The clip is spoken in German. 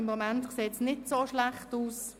Im Moment sieht es nicht so schlecht aus.